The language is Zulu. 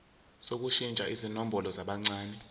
sokushintsha izibongo zabancane